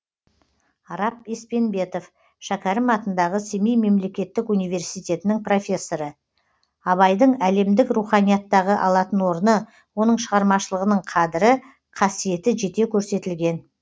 арап еспенбетов шәкәрім атындағы семей мемлекеттік университетінің профессоры абайдың әлемдік руханияттағы алатын орны оның шығармашылығының қадірі қасиеті жете көрсетілген